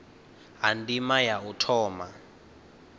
ha ndima ya u thoma